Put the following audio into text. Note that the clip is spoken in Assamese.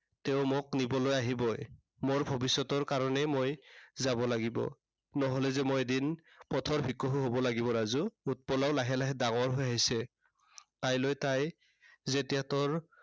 তেওঁ মোক নিবলৈ আহিবই। মোৰ ভৱিষ্য়তৰ কাৰনেই মই যাব লাগিব। নহলে যে মই এদিন পথৰ ভিকহু হব লাগিব ৰাজু। উৎপলাও লাহে লাহে ডাঙৰ হৈ আহিছে। কাইলে তাই যেতিয়া তোৰ